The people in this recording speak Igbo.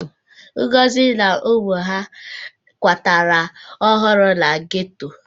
Ngozi na ụmụ ya kwatara ọhụrụ na geto.